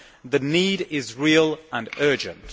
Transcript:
The need is real and urgent.